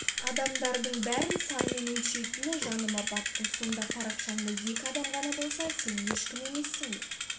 адамдардың бәрін санмен өлшейтіні жаныма батты сонда парақшаңда екі адам ғана болса сен ешкім емессің бе